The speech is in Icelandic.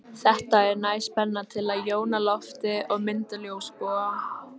Þetta er næg spenna til að jóna loftið og mynda ljósboga.